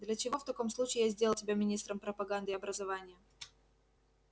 для чего в таком случае я сделал тебя министром пропаганды и образования